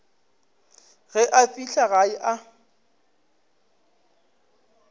ge a fihla gae a